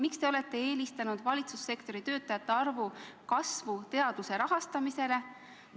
Miks te olete eelistanud valitsussektori töötajate arvu kasvu teaduse rahastamisele?